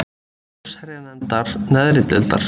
allsherjarnefndar neðri deildar.